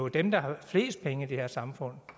dem der har flest penge i det her samfund